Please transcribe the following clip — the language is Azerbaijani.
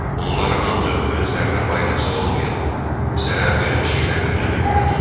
Onlar ancaq özlərinə faydası olmayan, zərər verən şeyləri öyrənirdilər.